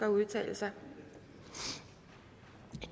at udtale sig da